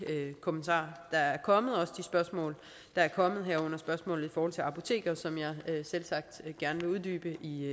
kommentarer der er kommet og de spørgsmål der er kommet herunder spørgsmålet i forhold til apoteker som jeg selvsagt gerne vil uddybe i